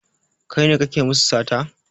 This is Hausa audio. Kai ne kake musu sata?